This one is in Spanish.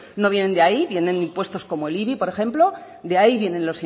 no vienen de ahí vienen impuestos como el ibi por ejemplo de ahí vienen